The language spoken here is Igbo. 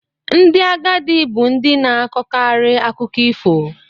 Ndị agadi bu ndi na-akọkarị akụkọ ifo.